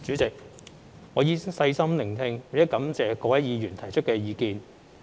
主席，我已細心聆聽並感謝各位議員提出意見。